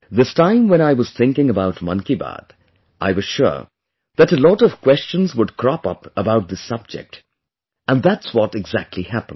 This time when I was thinking about 'Mann ki Baat', I was sure that a lot of questions would crop up about this subject and that's what exactly happened